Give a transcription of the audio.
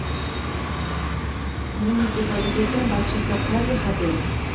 муниципалитеттің басшысы харри хабель